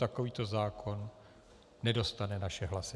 Takovýto zákon nedostane naše hlasy.